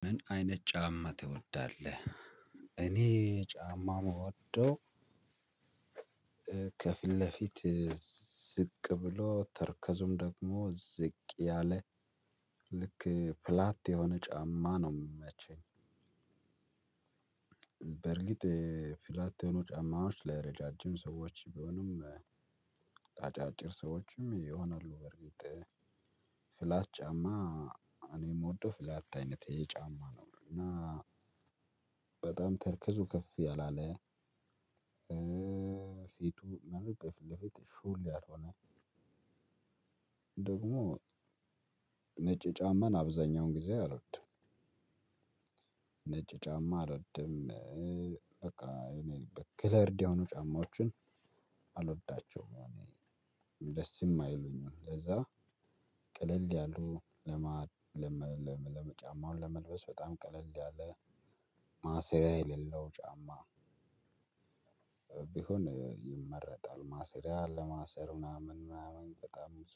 ምን አይነት ጫማ ትወዳለህ እኔ ጫማ የምወደው ከፊት ለፊት ዝቅ ብሎ ተርከዙም ደግሞ ዝቅ ያለ ልክ ፍላት የሆነ ጫማ ነው የምመቸኝ። በእርግጥ ፍላት የሆኑ ጫማዎች ለረዣዥም ሰዎች ቢሆንም አጫጭር ሰዎችም ይሆናሉ በርግጥ ፍላት ጫማ እኔ የምወደው ፍላታ አይነት ጫማ ነው እና በጣም ተርከዙ ከፍ ያል አለ ፊቱ ማለት በፊትለፊት ሹል ያልሆነ ደግሞ ነጭ ጫማን አብዛኛውን ጊዜ አልወድም። ነጭ ጫማ አልወድም በቃ ከሌርድ የሆኑ ጫማዎችን አልወዳቸውም። ደስም አይሉኝም ለዛ ቀልል ያሉ ለጫማውን ለመልበስ በጣም ቀለል ያለ ማሰሪያ የሌለው ጫማ ቢሆን ይመረጣል ማሰሪያ ለማሰር ምናምን ምናምን በጣም ብዙ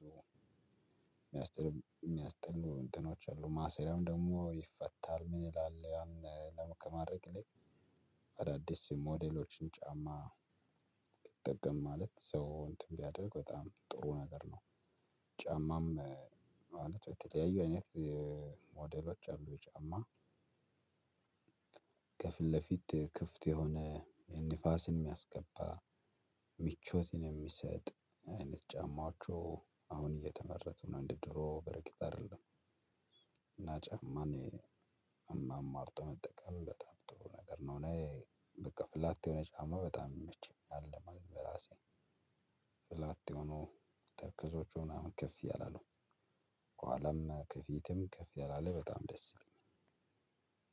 የሚያስጠሉ እንትኖች አሉ ማሰሪያም ደግሞ ይፈታል ምን ይላል ያን ከማድረግ ይልቅ አዳዲስ ሞዴሎችን ጫማ ብትጠቀም ማለት ሰው እንትን ቢያደርግ በጣም ጥሩ ነገር ነው ጫማም ማለት በተለያዩ አይነት ሞዴሎች አሉ የጫማ ከፊት ለፊት ክፍት የሆነ ንፋስን የሚያስገባ ሚቾትን የሚሰጥ አይነት ጫማዎቹ አሁን እየተመረቱ ነው እንደ ድሮ በርግጥ አይደለም እና ጫማን አማርጦ መጠቀም በጣም ጥሩ ነገር ነው። እኔ በቃ ፍላት የሆነ ጫማ በጣም የመቸኛል ማለት በራሴ ፍላት የሆኑ ተረከዞቹ ምናምን ክፍ ያል አለው። ከኋላም ከፊትም ክፍ ያለ አለ በጣም ደስ ይለኛል።